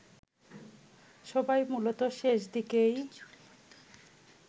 সবাই মূলত শেষদিকেই